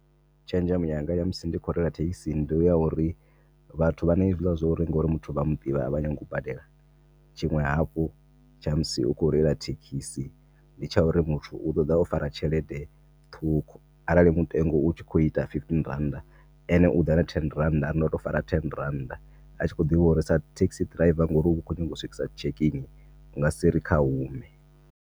Tshenzhemo yanga ya musi ndi kho reila thekhisi ndi ya uri vhathu vhana hezwila zwa uri ngori muthu vhaya muḓivha avha nyagi u badela. Tshiṅwe hafhu tsha musi u kho reila thekhisi nditsha uri muthu u ḓoḓa o fara tshelede ṱhukhu arali mutengo utshi kho ita fifteen rannda, ene uḓa na ten rannda ari ndo to fara ten rannda atshi kho ḓivha uri sa taxi driver ngori u kho nyaga u swikisa check-in u nga si ri kha hume.